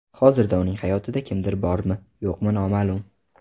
Hozirda uning hayotida kimdir bormi, yo‘qmi noma’lum.